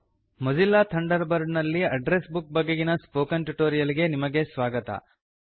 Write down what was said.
ಮೋಜಿಲಾ Thunderbird ನಲ್ಲಿನ address book ಬಗೆಗಿನ spoken tutorial ಗೆ ನಿಮಗೆ ಸ್ವಾಗತ